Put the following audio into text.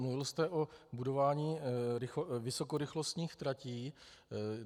Mluvil jste o budování vysokorychlostních tratí.